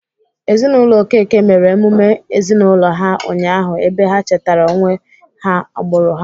Ezinaụlọ Okeke mere emume ezinaụlọ ha ụnyahụ ebe ha chetara onwe ha agbụrụ ha.